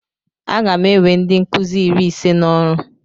Aga m ewe ndi nkuzi iri ise n'ọrụ